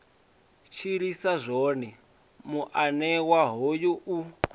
tshilisa zwone muanewa hoyu u